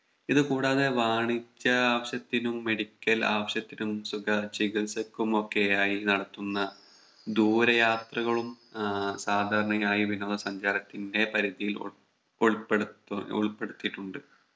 ഇത് കൂടാതെ വാണിജ്യ ആവശ്യത്തിനും Medical ആവശ്യത്തിനും സുഖ ചികിത്സക്കുമൊക്കെയായി നടത്തുന്ന ദൂരെ യാത്രകളും ആഹ് സാധാരണയായി വിനോദ സഞ്ചാരത്തിന്റെ പരിധിയിൽ ഉൾപ്പെ ഉൾപ്പെടുത്തു ഉൾപ്പെടുത്തിയിട്ടുണ്ട്